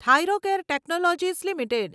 Thyrocare technologies limited